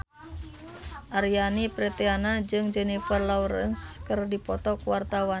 Aryani Fitriana jeung Jennifer Lawrence keur dipoto ku wartawan